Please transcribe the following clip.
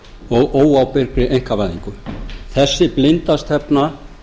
og óábyrgri einkavæðingu þessi blinda stefna